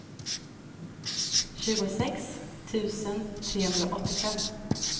tjugosex tusen trehundraåttiofem